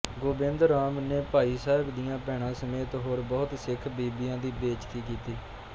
ਗੋਬਿੰਦ ਰਾਮ ਨੇ ਭਾਈ ਸਾਹਿਬ ਦੀਆਂ ਭੈਣਾ ਸਮੇਤ ਹੋਰ ਬਹੁਤ ਸਿਖ ਬੀਬੀਆਂ ਦੀ ਬੇਇੱਜ਼ਤੀ ਕੀਤੀ